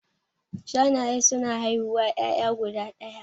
Shanaye suna haihuwan ƴaƴa guda ɗaya